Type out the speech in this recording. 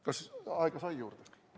Kas aega saab juurde?